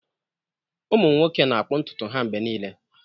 Ụmụ nwoke na-akpụ ntutu ha mgbe niile.